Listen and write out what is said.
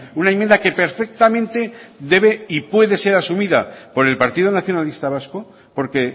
una enmienda que perfectamente debe y puede ser asumida por el partido nacionalista vasco porque